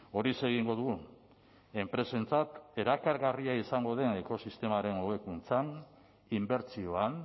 horixe egingo dugu enpresentzat erakargarria izango den ekosistemaren hobekuntzan inbertsioan